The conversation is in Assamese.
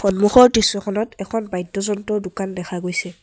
সন্মুখৰ দৃশ্যখনত এখন বাদ্যযন্ত্ৰৰ দোকান দেখা গৈছে।